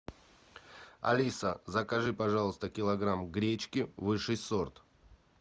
алиса закажи пожалуйста килограмм гречки высший сорт